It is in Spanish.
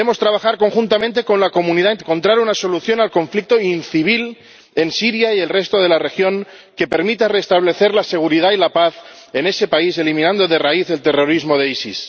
Debemos trabajar conjuntamente con la comunidad internacional para encontrar una solución al conflicto incivil en Siria y el resto de la región que permita restablecer la seguridad y la paz en ese país, eliminando de raíz el terrorismo del EIIL.